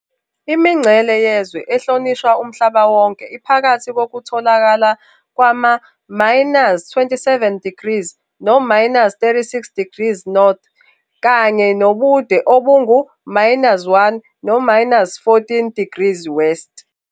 Imingcele yezwe ehlonishwa umhlaba wonke iphakathi kokutholakala kwama-27 degrees no-36 degrees N, kanye nobude obungu-1 no-14 degrees W.